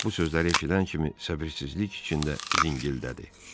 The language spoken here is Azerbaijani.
Bak bu sözləri eşidən kimi səbirsizlik içində zingildədi.